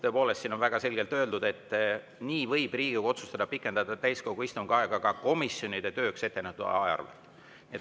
Tõepoolest, siin on väga selgelt öeldud, et Riigikogu võib otsustada pikendada täiskogu istungi aega ka komisjonide tööks ettenähtud aja arvelt.